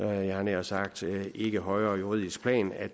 havde nær sagt ikke højere juridisk plan